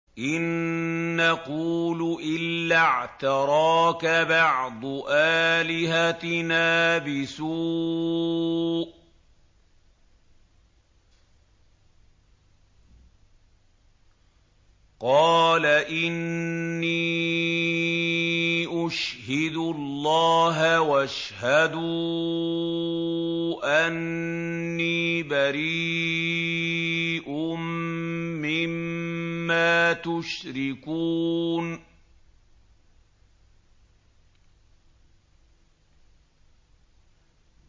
إِن نَّقُولُ إِلَّا اعْتَرَاكَ بَعْضُ آلِهَتِنَا بِسُوءٍ ۗ قَالَ إِنِّي أُشْهِدُ اللَّهَ وَاشْهَدُوا أَنِّي بَرِيءٌ مِّمَّا تُشْرِكُونَ